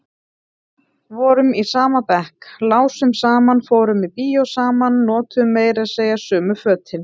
Vorum í sama bekk, lásum saman, fórum í bíó saman, notuðum meira segja sömu fötin.